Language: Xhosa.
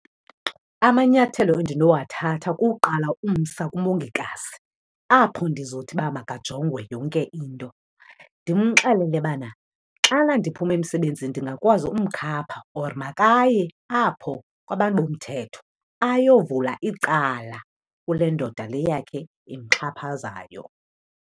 Amanyathelo endinowathatha kukuqala umsa kumongikazi apho ndizothi uba makajongwe yonke into. Ndimxelele bana xana ndiphuma emsebenzini ndingakwazi umkhapha or makaye apho kwabantu bomthetho ayovula icala kule ndoda le yakhe imxhaphazayo.